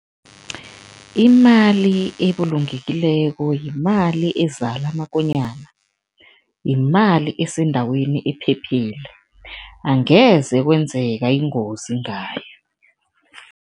Imali ebulungekileko yimali ezala amakonyana, yimali esendaweni ephephile, angeze kwenzeka ingozi ngayo.